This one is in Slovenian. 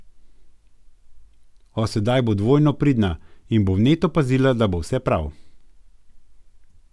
O, sedaj bo dvojno pridna in bo vneto pazila, da bo vse prav.